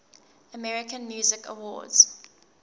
american music awards